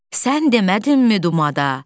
Sən demədinmi dumada?